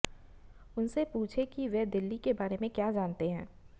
उनसे पूछें कि वे दिल्ली के बारे में क्या जानते हैं